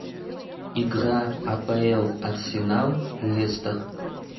игра апл арсенал лестер